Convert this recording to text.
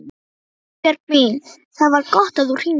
Guðbjörg mín, það var gott að þú hringdir.